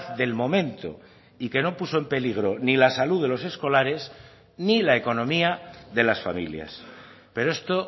del momento y que no puso en peligro ni la salud de los escolares ni la economía de las familias pero esto